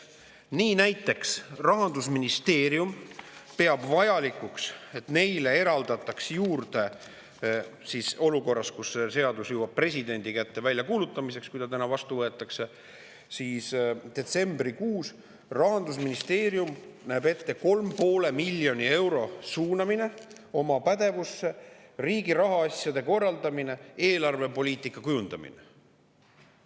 Nii näiteks peab Rahandusministeerium vajalikuks, et neile eraldataks juurde – seda olukorras, kus see seadus jõuab presidendi kätte väljakuulutamiseks, juhul kui ta täna vastu võetakse, detsembrikuus – 3,5 miljonit eurot, et see suunataks nende pädevusse riigi rahaasjade korraldamiseks ja eelarvepoliitika kujundamiseks.